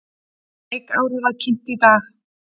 Leikárið var kynnt í dag.